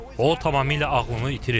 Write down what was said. O tamamilə ağlını itirib.